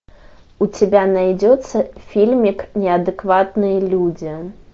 у тебя найдется фильмик неадекватные люди